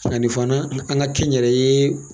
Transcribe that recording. nin fana an ka kɛ n yɛrɛ ye